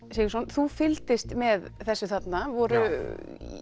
þú fylgdist með þessu þarna voru